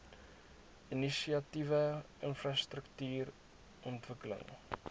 inisiatiewe infrastruktuur ontwikkeling